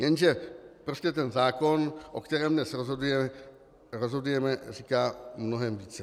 Jenže prostě ten zákon, o kterém dnes rozhodujeme, říká mnohem více.